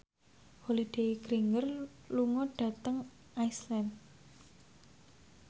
Holliday Grainger lunga dhateng Iceland